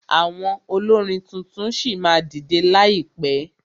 Àwọn olórin tuntun ṣì máa dìdẹ láìpẹ.